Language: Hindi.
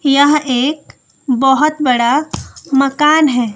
यह एक बहोत बड़ा मकान है।